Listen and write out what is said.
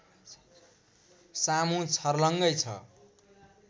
सामु छर्लङ्गै छ